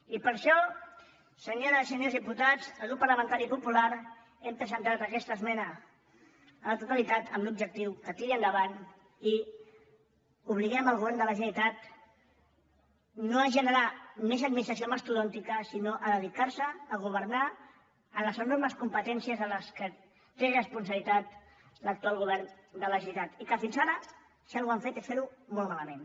i per això senyores i senyors diputats el grup parlamentari popular hem presentat aquesta esmena a la totalitat amb l’objectiu que tiri endavant i obliguem el govern de la generalitat no a generar més administració mastodòntica sinó a dedicar se a governar en les enormes competències en què té responsabilitat l’actual govern de la generalitat i que fins ara si alguna cosa han fet es fer ho molt malament